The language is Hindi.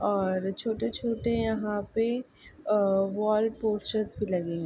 और छोटे-छोटे यहाँ पे वॉल पोस्टर्स भी लगे हुए हैं।